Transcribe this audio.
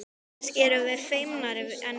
Kannski erum við feimnari en þið.